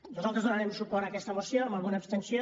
nosaltres donarem suport a aquesta moció amb alguna abstenció